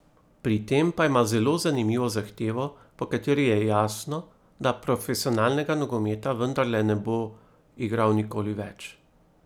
Pri tem pa ima zelo zanimivo zahtevo, po kateri je jasno, da profesionalnega nogometa vendarle ne bo igral nikoli več.